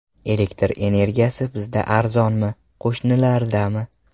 Elektr energiyasi bizda arzonmi, qo‘shnilardami?